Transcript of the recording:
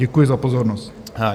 Děkuji za pozornost.